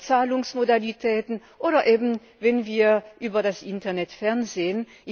Zahlungsmodalitäten, oder eben wenn wir über das Internet fernsehen.